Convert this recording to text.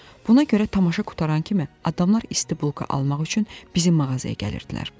Buna görə tamaşa qurtaran kimi adamlar isti bulka almaq üçün bizim mağazaya gəlirdilər.